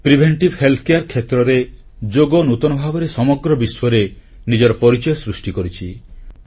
ପ୍ରତିଶେଧକ ସ୍ୱାସ୍ଥ୍ୟ ସେବା କ୍ଷେତ୍ରରେ ଯୋଗ ନୂତନ ଭାବରେ ସମଗ୍ର ବିଶ୍ୱରେ ନିଜର ପରିଚୟ ସୃଷ୍ଟି କରିଛି